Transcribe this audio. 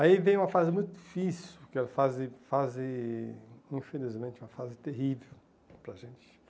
Aí vem uma fase muito difícil, que é uma fase fase, infelizmente, uma fase terrível para a gente.